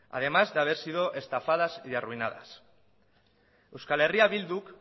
además de haber sido estafadas y arruinadas eh bilduk